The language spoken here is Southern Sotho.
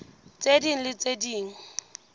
tse ding le tse ding